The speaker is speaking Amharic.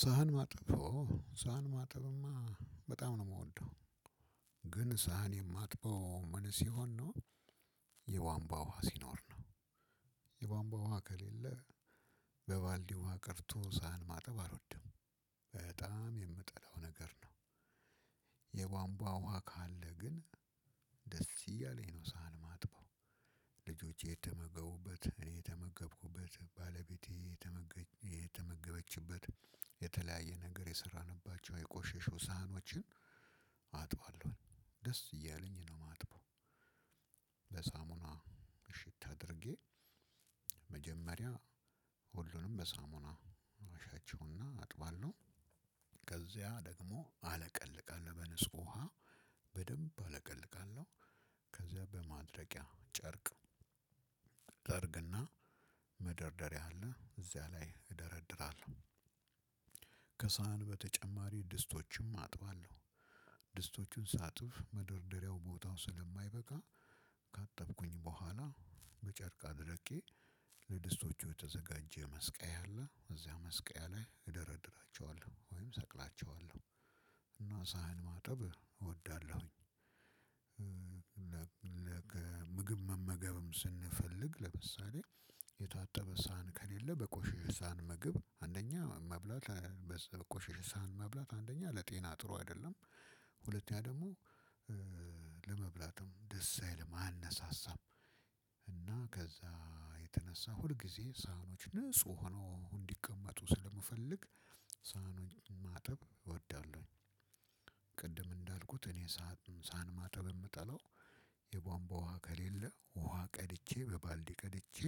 ሰሃን ማጠብ ኦ ሰሃን ማጠብማ በጣም ነው ምወደው። ግን ሰሃን የማጥበው ምን ሲሆን ነው። የቧንቧ ውሃ ሲኖር ነው የቧንቧ ውሃ ከሌለ። በባልዲ ውሃ ቀድቶ ሰሃን ማጠብ አልወድም። በጣም የምጠላው ነገር ነው። የቧንቧ ውሃ ካለ ግን ደስ እያለኝ ነው ሰሃን ማጥበው። ልጆቼ የተመገቡበት እኔ የተመገብኩበት ባለቤቴ የተመገች የተመገበችበት የተለያየ ነገር የሰራንባቸው የቆሸሹ ሰሃኖችን አጥባለሁ። ደስ እያለኝ ነው ማጥበው። በሳሙና እሽት አድርጌ መጀመሪያ ሁሉንም በሳሙና አሻቸው እና አጥባለሁ። ከዚያ ደግሞ አለቀልቃለሁ በንጹህ ውሃ በደንብ አለቀልቃለሁ። ከዚያ በማድረቂያ ጨርቅ ጠርግ እና መደርደሪያ አለ እዚያ ላይ እደረድራለሁ። ከሰሃን በተጨማሪ ድስቶችም አጥባለሁ። ድስቶቹን ሳጥፍ መደርደሪያው ቦታው ስለማይበቃ ካጠብኩኝ በኋላ በጨርቅ አድርቄ ለድስቶቹ የተዘጋጀ መስቀያ አለ እዚያ መስቀያ ላይ እደረድራቸዋለሁ ወይም ሰቅላቸዋለሁ። እና ሰሃን ማጠብ እወዳለሁኝ። ለገ ምግም መመገብም ስንፈልግ ለምሳሌ የታጠበ ሰሃን ከሌለ በቆሸሸ ሰሃን ምግብ አንደኛ መብላት በሰ በቆሸሸ ሰሃን መብላት አንደኛ ለጤና ጥሩ አይደለም። ሁለተኛ ደግሞ ለመብላትም ደስ አይልም አያነሳሳም። እና ከዛ የተነሳ ሁልጊዜ ሰሃኖች ንጹህ ሆኖ እንዲቀመጡ ስለምፈልግ ሰሃኖችን ማጠብ እወዳለሁኝ። ቅድም እንዳልኩት እኔ ሰሃን ሰሃን ማጠብ እምጠላው። የቧንቧ ውሃ ከሌለ ውሃ ቀድቼ በባልዲ ቀድቼ